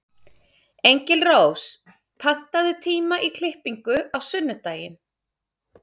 Engilrós, pantaðu tíma í klippingu á sunnudaginn.